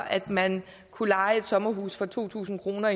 at man kunne leje et sommerhus for to tusind kroner